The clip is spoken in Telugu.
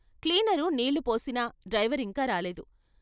క్లీనరు నీళ్ళు పోసినా డ్రైవరింకా రాలేదు.